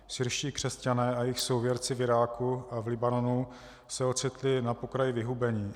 Syrští křesťané a jejich souvěrci v Iráku a v Libanonu se ocitli na pokraji vyhubení.